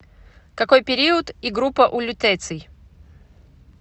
какой период и группа у лютеций